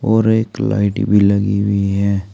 और एक लाइट भी लगी हुई है।